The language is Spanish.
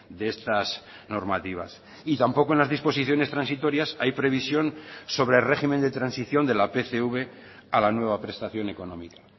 de estas normativas y tampoco en las disposiciones transitorias hay previsión sobre régimen de transición de la pcv a la nueva prestación económica